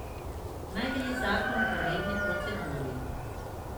Naj gre zakon po redni proceduri.